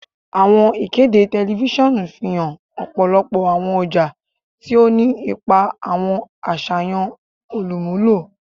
Awọn ikede tẹlifisiọnu fihan ọpọlọpọ awọn ọja, ti o ni ipa awọn aṣayan olumulo.